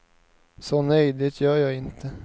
Så nej, det gör jag inte.